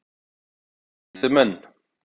Geta þeir étið menn?